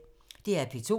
DR P2